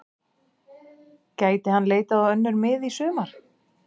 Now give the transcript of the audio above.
Gæti hann leitað á önnur mið í sumar?